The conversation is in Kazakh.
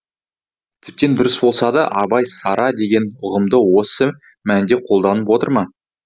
тіптен дұрыс болса да абай сара деген ұғымды осы мәнде қолданып отыр ма